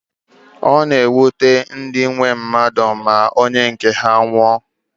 Ọ na-ewute ndị nwe mmadụ ma onye nke ha nwụọ